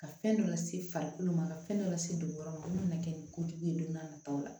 Ka fɛn dɔ lase farikolo ma ka fɛn dɔ lase dugukolo ma a mana kɛ ni kojugu ye don n'a nataw la